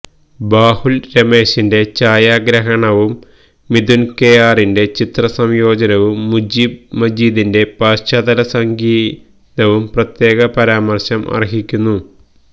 ബാഹുല് രമേശിന്റെ ഛായാഗ്രാഹണവും മിഥുന് കെ ആറിന്റെ ചിത്രസംയോജനവും മുജീബ് മജീദിന്റെ പശ്ചാത്തല സംഗീതവും പ്രത്യേക പരമാര്ശം അര്ഹിയ്ക്കുന്നു